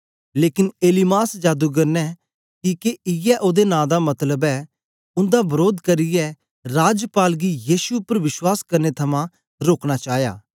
लेकन एलीमास जादूगर ने किके इयै ओदे नां दा मतलब ऐ उन्दा वरोध करियै राजपाल गी यीशु उपर विश्वास करने थमां रोकना चाया